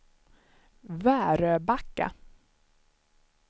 Väröbacka